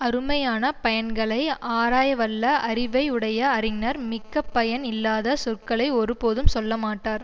அருமையான பயன்களை ஆராயவல்ல அறிவை உடைய அறிஞர் மிக்க பயன் இல்லாத சொற்களை ஒருபோதும் சொல்லமாட்டார்